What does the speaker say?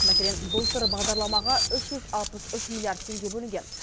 мәселен былтыр бағдарламаға үш жүз алпыс үш миллиард теңге бөлінген